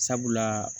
Sabula